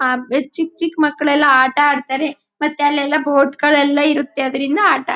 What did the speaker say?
ಆ ಚಿಕ್ ಚಿಕ್ ಮಕ್ಕಳ್ಳೆಲ್ಲ ಆಟ ಆಡ್ತಾರೆ ಮತ್ತೆ ಅಲ್ಲೆಲ್ಲ ಬೋಟ್ ಗಲ್ಲೆಲ್ಲ ಇರುಥೆ ಅದ್ರಿಂದ ಆಟ ಆಡ್ತಾರೆ.